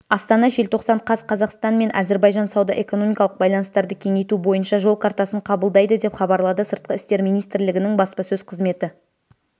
астана желтоқсан қаз қазақстан мен әзірбайжан сауда-экономикалық байланыстарды кеңейту бойынша жол картасын қабылдайды деп хабарлады сыртқы істер министрлігінің баспасөз қызметі